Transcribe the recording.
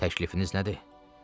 Təklifiniz nədir?